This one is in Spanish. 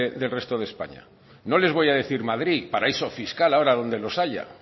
del resto de españa no les voy a decir madrid paraíso fiscal ahora donde los haya